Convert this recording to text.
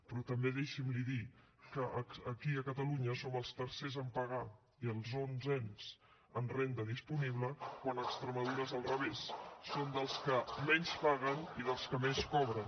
però també deixi’m dir li que aquí a catalunya som els tercers a pagar i els onzens en renda disponible quan a extremadura és al revés són dels que menys paguen i dels que més cobren